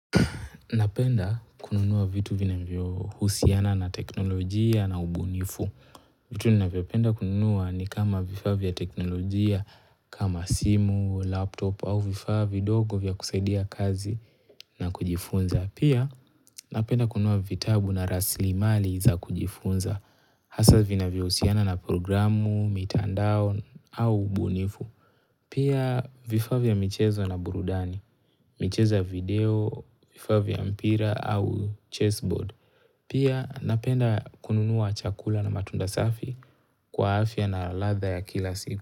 Napenda kununua vitu vinavyo husiana na teknolojia na ubunifu. Vitu ninavyo penda kununua ni kama vifaa vya teknolojia kama simu, laptop au vifaa vidogo vya kusaidia kazi na kujifunza. Pia napenda kununua vitabu na rasilimali za kujifunza. Hasa vinavyo husiana na programu, mitandao au ubunifu. Pia vifaa vya michezo na burudani, michezo ya video, vifaa vya mpira au chessboard. Pia napenda kununua chakula na matunda safi kwa afya na ladha ya kila siku.